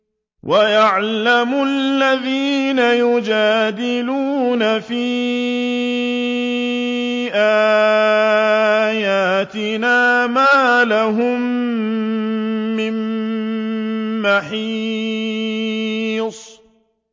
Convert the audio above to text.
وَيَعْلَمَ الَّذِينَ يُجَادِلُونَ فِي آيَاتِنَا مَا لَهُم مِّن مَّحِيصٍ